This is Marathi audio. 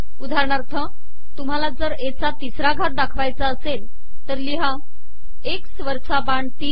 उदाहरणाथर तुमहाला जर ए चा ितसरा घात दाखवायचा असेल तर िलहा एकस वरचा बाण तीन